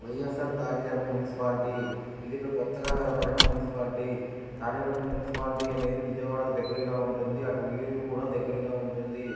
YSR party తరపు municipality . వివిధ కొత్తగా వేయబడిన మున్సిపాలిటీ . కార్యవర్గం మున్సిపాలిటీ అనేది విజయవాడకు దగ్గరగా ఉంటుంది. అటు ఉయ్యూరు కూడా దగ్గరగా ఉంటుంది.